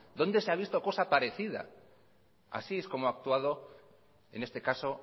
dónde se ha visto cosa parecida así es como ha actuado en este caso